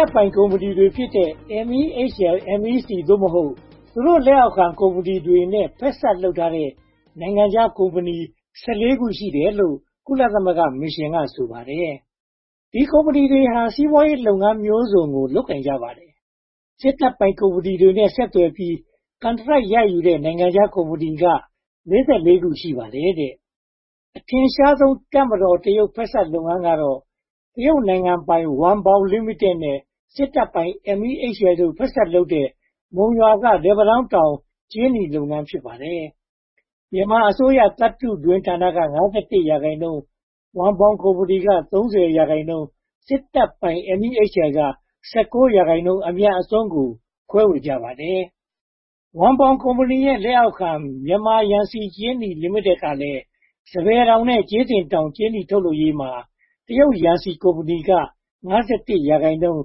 ပ်ပိုင်ကုမ္ပဏီတွေဖြစ်တဲ့ MEHL, MEC (သို့မဟုတ်) သူတို့လက်အောက်ခံ ကုမ္ပဏီတွေတဲ့ ဖက်စပ်လုပ်ထားတဲ့ နိုင်ငံခြားကုမ္ပဏီ (၁၄) ခု ရှိတယ်လို့ ကုလသမဂ္ဂမစ်ရှင်က ဆိုပါတယ်။ ဒီကုမ္ပဏီတွေဟာ စီးပွားရေးလုပ်ငန်းမျိုးစုံကို လုပ်ကိုင်ကြပါတယ်။ စစ်တပ်ပိုင်ကုမ္ပဏီတွေနဲ့ ဆက်သွယ်ပြီး ကန်ထရိုက်ရယူတဲ့ နိုင်ငံခြားကုမ္ပဏီတွေက (၄၄) ခု ရှိပါတယ်။ အထင်ရှာဆုံး တပ်မတော် - တရုတ် ဖက်စပ်လုပ်ငန်းကတော့ တရုတ်နိုင်ငံပိုင် ဝမ်ဘောင်လိမိတက်နဲ့ စစ်တပ်ပိုင် MEHL တို့ ဖက်စပ်လုပ်တဲ့ မုံရွာက လက်ပံတောင်းတောင် ကြေးနီလုပ်ငန်း ဖြစ်ပါတယ်။ မြန်မာအစိုးရသတ္တုတွင်းဌာနက (၅၁) ရာခိုင်နှုန်း၊ ဝမ်ဘောင်ကုမ္ပဏီက (၃၀) ရာခိုင်နှုန်း၊ စစ်တပ်ပိုင် MEHL က (၁၉) ရာခိုင်နှုန်း အမြတ်အစွန်းကို ခွဲဝေကြပါတယ်။ ဝမ်ဘောင်ကုမ္ပဏီရဲ့ လက်အောက်ခံ မြန်မာယန်စီကြေးနီလိမိတက်ကလည်း စပယ်တောင်နဲ့ ကြေးစင်တောင် ကြေးနီထုတ်လုပ်ရေးမှာ တရုတ်ယန်စီကုမ္ပဏီက (၅၁) ရာခိုင်နှုန်း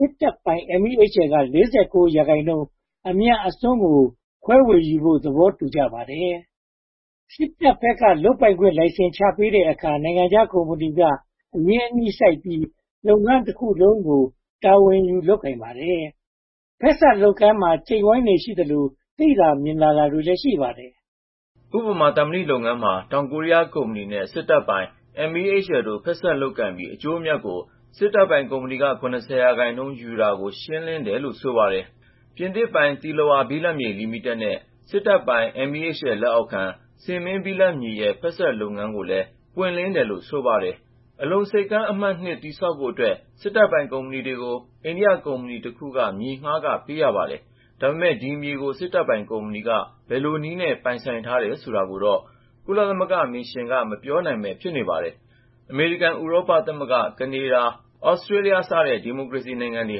၊ စစ်တပ်ပိုင် MEHL က (၄၉) ရာခိုင်နှုန်း အမြတ်အစွန်းကို ခွဲဝေဖို့ သဘောတူထားပါတယ်။ စစ်တပ်ဘက်က လုပ်ပိုင်ခွင့်လိုင်စင် ချပေးတဲ့အခါ နိုင်ငံခြားကုမ္ပဏီက အရင်းအနှီးစိုက်ပြီး လုပ်ငန်းတခုလုံးကို တာဝန်ယူလုပ်ကိုင်ပါတယ်။ ဖက်စပ်လုပ်ငန်းမှာ ကျိတ်ဝိုင်းတွေရှိသလို သိသာမြင်သာတာတွေလည်း ရှိပါတယ်။ ဥပမာ သံမဏီလုပ်ငန်းမှာ တောင်ကိုရီးယားကုမ္ပဏီနဲ့ စစ်တပ်ပိုင် MEHL တို့ ဖက်စပ်လုပ်ပြီး အကျိုးအမြတ်ကို စစ်တပ်ပိုင်ကုမ္ပဏီက (၇၀) ရာခိုင်နှုန်း ယူတာကို ရှင်းလင်းတယ်လို့ ဆိုပါတယ်။ ပြင်သစ်ပိုင် သီလဝါ ဘိလပ်မြေလိမိတက်နဲ့ စစ်တပ်ပိုင် MHEL လက်အောက်ခံ ဆင်မင်းဘိလပ်မြေရဲ့ ဖက်စပ်လုပ်ငန်းကိုလည်း ပွင့်လင်းတယ်လို့ ဆိုပါတယ်။ အလုံဆိပ်ကမ်းအမှတ် (၂) တည်ဆောက်ဖို့အတွက် စစ်တပ်ပိုင်ကုမ္ပဏီတွေက ဘယ်လိုနည်းနဲ့ ပိုင်ဆိုင်ထားတယ်ဆိုတာကိုတော့ ကုလသမဂ္ဂမစ်ရှင်က မပြောနိုင်ပဲ ဖြစ်နေပါတယ်။ အမေရိကန်၊ ဥရောပသမဂ္ဂအဖွဲ့၊ ကနေဒါ၊ Australia စတဲ့ ဒီမိုကရေစီနိုင်ငံတွေ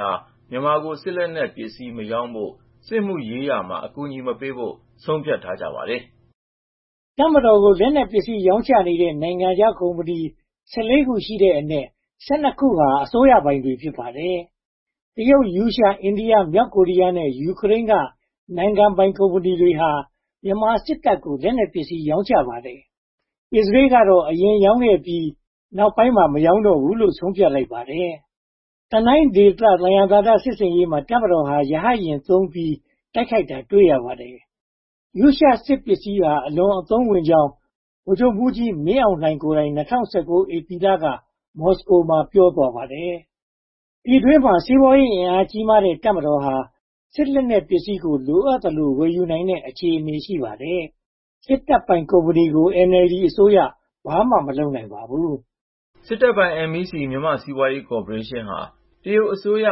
ဟာ မြန်မာကို စစ်လက်နက်ပစ္စည်း မရောင်းဖို့ စစ်မှုရေးရာမှာ အကူအညီမပေးဖို့ ဆုံးဖြတ်ထားကြပါတယ်။ တပ်မတော်ကို လက်နက်ပစ္စည်း ရောင်းချနေတဲ့ နိုင်ငံခြားကုမ္ပဏီ (၁၄) ခု ရှိတဲ့အနက်၊ (၁၂) ခုဟာ အစိုးရပိုင်တွေ ဖြစ်ပါတယ်။ တရုတ်၊ ရုရှား၊ အိန္ဒိယ၊ မြောက်ကိုရီးယားနဲ့ ယူကရိုန်းက နိုင်ငံပိုင်ကုမ္ပဏီတွေဟာ မြန်မာစစ်တပ်ကို လက်နက်ပစ္စည်း ရောင်းချပါတယ်။ အစ္စရေးလ်ကတော့ အရင်က ရောင်းခဲ့ပြီး နောက်ပိုင်းမှာတော့ မရောင်းတော့ဖို့ ဆုံးဖြတ်လိုက်ပါတယ်။ တနိုင်းဒေသ သယံဇာတ စစ်ဆင်ရေးမှာ တပ်မတော်ဟာ ရဟတ်ယာဉ်သုံးပြီး တိုက်ခိုက်တာတွေ့ရပါတယ်။ ရှရှားစစ်ပစ္စည်းတွေဟာ အလွန်အသုံးဝင်ကြောင်း ဗိုလ်ချုပ်မှူးကြီးမင်းအောင်လှိုင်ကိုယ်တိုင် ၂၀၁၉ ဧပြီလက မော်စကိုမှာ ပြောသွားပါတယ်။ ပြည်တွင်းမှာ စီးပွားရေးအင်အားကြီးမားတဲ့ တပ်မတော်ဟာ စစ်လက်နက်ပစ္စည်းကို လိုအပ်သလို ဝယ်ယူနိုင်တဲ့ အခြေအနေမှာ ရှိပါတယ်။ စစ်တပ်ပိုင်ကုမ္ပဏီကို NLD အစိုးရ ဘာမှမလုပ်နိုင်ပါဘူး။ စစ်တပ်ပိုင် MEC မြန်မာ့စီးပွားရေးကော်ပိုးရေးရှင်းဟာ တရုတ်အစိုးရ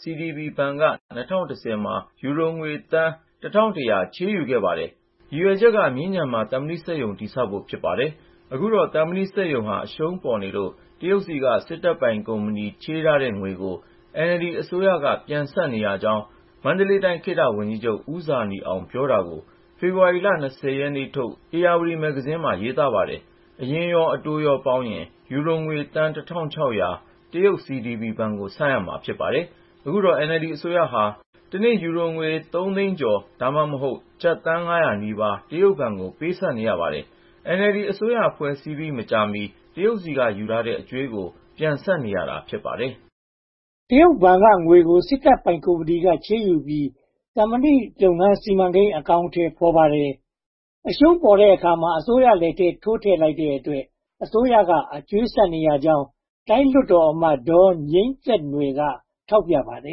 CDB ဘဏ်က ၂၀၁၀ မှာ ယူရိုငွေသန်း (၁၁၀၀) ချေးယူခဲ့ပါတယ်။ ရည်ရွယ်ချက်က မြင်းခြံမှာ သံမဏီစက်ရုံ တည်ဆောက်ဖို့ ဖြစ်ပါတယ်။ အခုတော့ သံမဏီစက်ရုံဟာ အရှုံးပေါ်နေလို့ တရုတ်ဆီက စစ်တပ်ပိုင်ကုမ္ပဏီ ချေးထားတဲ့ငွေကို NLD အစိုးရက ပြန်ဆပ်နေရကြောင်း မန္တလေးတိုင်း ခေတ္တဝန်ကြီးချုပ် ဦးဇာနည်အောင် ပြောတာကို ဖေဖေါ်ဝါရီ (၂၀) ရက်ထုတ် ဧရာဝတီမှာ နန်းလွင်က သတင်းရေးထားပါတယ်။ အရင်းရော အတိုးရောပေါင်းရင် ယူရိုငွေသန်း (၁၆၀၀) တရုတ် CDB ဘဏ်ကို ဆပ်ရမှာ ဖြစ်ပါတယ်။ အခုတော့ NLD အစိုးရဟာ တနေ့ ယူရိုသုံးသိန်းကျော် (သို့မဟုတ်) ကျပ်သန်းငါးရာနီးပါး တရုတ်ဘဏ်ကို ပေးဆပ်နေရပါတယ်။ NLD အစိုးရ ဖွဲ့စည်းပြီး မကြာမီ တရုတ်ဆီက ယူထားတဲ့အကြွေးကို ပြန်ဆပ်နေရတာ ဖြစ်ပါတယ်။ တရုတ်ဘဏ်က ငွေကို စစ်တပ်ပိုင်ကုမ္ပဏီက ချေးယူထားပြီး သံမဏီလုပ်ငန်း စီမံကိန်း အကောင်အထည် ဖော်ပါတယ်။ အရှုံးပေါ်တဲ့အခါမှာ အစိုးရလက်ထဲ ထိုးထည့်လိုက်တဲ့အတွက် အစိုးရက အကြွေးဆပ်နေရကြောင်း တိုင်းလွှတ်တော်အမတ် ဒေါ်ငြိမ်းသက်နွယ် ထောက်ပြထားပါတ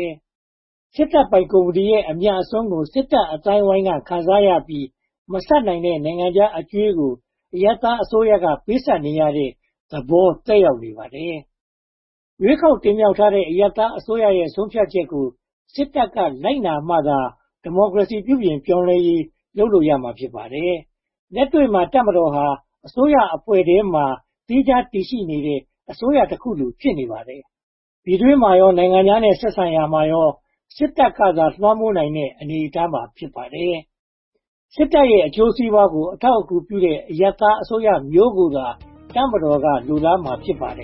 ယ်။ စစ်တပ်ပိုင်ကုမ္ပဏီရဲ့ အမြတ်အစွန်းကို စစ်တပ်အသိုင်းအဝိုင်းက ခံစားရပြီး မဆပ်နိုင်တဲ့ နိုင်ငံခြားအကြွေးကို အရပ်သားအစိုးရက ပေးဆပ်နေရတဲ့ သဘောသက်ရောက်နေပါတယ်။ ရွေးကောက်တင်မြှောက်ထားတဲ့ အရပ်သားအစိုးရရဲ့ ဆုံးဖြတ်ချက်ကို စစ်တပ်က လိုက်နာမှသာ ဒီမိုကရေစီ ပြုပြင်ပြောင်းလဲရေး လုပ်လို့ရမှာ ဖြစ်ပါတယ်။ လက်တွေ့မှာ တပ်မတော်ဟာ အစိုးရအဖွဲ့ထဲမှာ သီးခြားတည်ရှိနေတဲ့ အစိုးရတခုလို ဖြစ်နေပါတယ်။ ပြည်တွင်းမှာရော နိုင်ငံခြားနဲ့ ဆက်ဆံရာမှာရော စစ်တပ်ကသာ လွှမ်းမိုးနိုင်တဲ့ အနေအထား ဖြစ်ပါတယ်။ စစ်တပ်ရဲ့ အကျိုးစီးပွားကို အထောက်အကူပြုတဲ့ အရပ်သားအစိုးရမျိုးကိုသာ တပ်မတော်က လိုလားမှာ ဖြစ်ပါတယ်